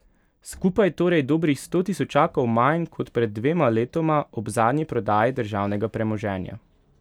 Skupaj torej dobrih sto tisočakov manj kot pred dvema letoma ob zadnji prodaji državnega premoženja.